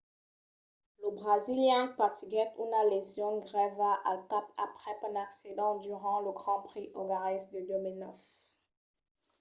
lo brasilian patiguèt una lesion grèva al cap aprèp un accident durant lo grand prix ongarés de 2009